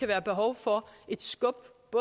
være behov for et skub